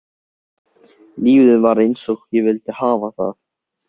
Lífið var einsog ég vildi hafa það.